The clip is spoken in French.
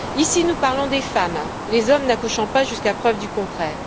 Ici, nous parlons des femmes, les hommes n'accouchant pas jusqu'à preuve du contraire.